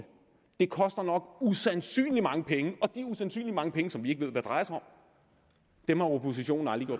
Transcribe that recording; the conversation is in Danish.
det koster nok usandsynlig mange penge og det er usandsynlig mange penge som vi ikke ved hvad drejer sig om dem har oppositionen aldrig